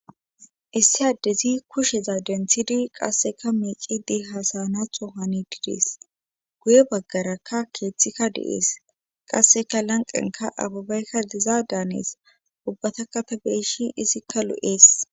Issi addezi kusheza denthidi qasseka miicidi hasanatho hani didees guye baggarakka keeththikka de7ees qasseka lanqenka ababaykka diza daanees ubbata katabireshin izikka lu7ees